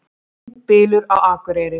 Blindbylur á Akureyri